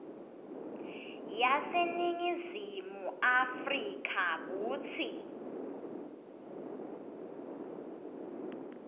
yaseningizimu afrika kutsi